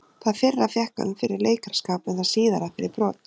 Það fyrra fékk hann fyrir leikaraskap en það síðara fyrir brot.